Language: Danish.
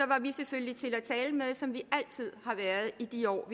var vi selvfølgelig til at tale med som vi altid har været i de år